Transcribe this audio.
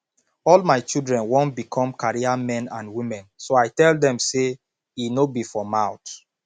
all my children wan become career men and women so i tell dem say e no be for mouth